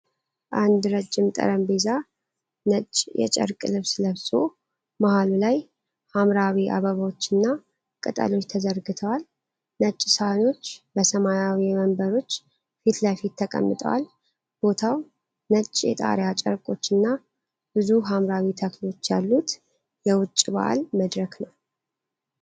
አንድ ረጅም ጠረጴዛ ነጭ የጨርቅ ልብስ ለብሶ መሃሉ ላይ ሐምራዊ አበባዎችና ቅጠሎች ተዘርግተዋል። ነጭ ሳህኖች በሰማያዊ ወንበሮች ፊት ለፊት ተቀምጠዋል። ቦታው ነጭ የጣሪያ ጨርቆችና ብዙ ሐምራዊ ተክሎች ያሉት የውጪ በዓል መድረክ ነው።